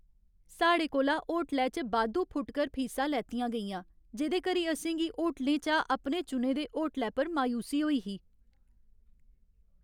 साढ़े कोला होटलै च बाद्धू फुटकर फीसा लैतियां गेइयां, जेह्दे करी असें गी होटलें चा अपने चुने दे होटलै पर मायूसी होई ही।